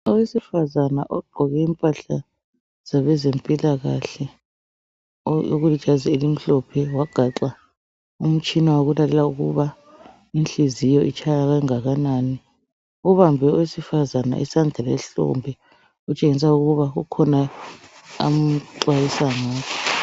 Owesifazana ogqoke impahla zabezempikahle okulijazi elomhlophe wagaxa umtshina wokulalela ukuba inhliziyo itshaya kangakanani ubambe owesifazana isandla ehlombe okutshengisa ukuba kukhona amxwayisa ngakho